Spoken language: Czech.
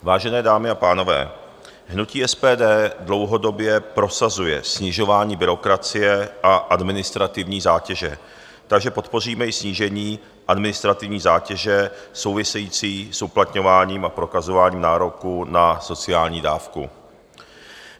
Vážené dámy a pánové, hnutí SPD dlouhodobě prosazuje snižování byrokracie a administrativní zátěže, takže podpoříme i snížení administrativní zátěže související s uplatňováním a prokazováním nároku na sociální dávku.